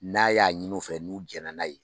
N'a y'a ɲinu fɛ n'u jɛna n'a ye.